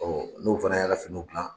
n'u fana y'a finiw gilan